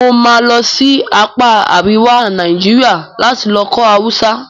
Mo máa lọ sí apá àríwá Naijiria lati lọ kọ́ Hausa